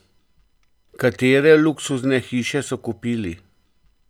Katere luksuzne hiše so kupili?